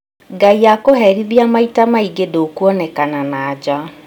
Ngai akũherithia maita maingĩ ndũkuonekana na nja